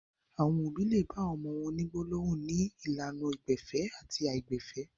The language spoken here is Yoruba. Àwọn òbí le bá àwọn ọmọ wọn ní gbólóhùn ní ìlànà àìgbẹ̀fẹ̀ tàbí àìgbẹ̀fẹ̀.